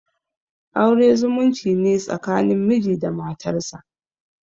Aure zumunci ne tsakanin miji da matarsa.